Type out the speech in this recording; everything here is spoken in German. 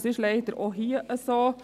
Das ist leider auch hier so.